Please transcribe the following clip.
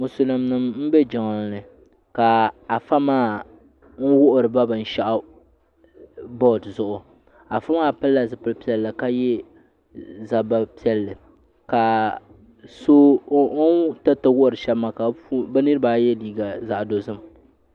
Musulin nima m be jiŋlini ka Afa maa n wuhiri ba binshaɣu boori zuɣu Afa maa pilila zipil'piɛlli ka ye zabba piɛlli ka o ni tiriti wuhiri sheba maa bɛ niriba ayi ye liiga zaɣa dozim.